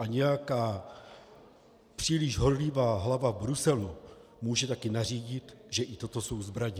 A nějaká příliš horlivá hlava v Bruselu může také nařídit, že i toto jsou zbraně.